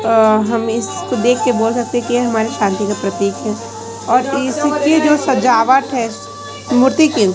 अ हम इसको देखके बोल सकते हैं कि यह हमारे शांति का प्रतीक है और इसके जो सजावट है मूर्ति के--